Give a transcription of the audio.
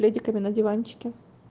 пледиками на диванчике